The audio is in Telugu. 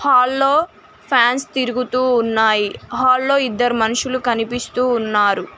హాల్ లో ఫాన్స్ తిరుగుతూ ఉన్నాయి. హాల్ లో ఇద్దరు మనుషులు కనిపిస్తూ ఉన్నారు.